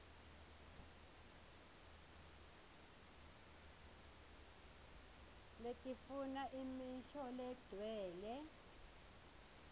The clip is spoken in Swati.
letifuna imisho legcwele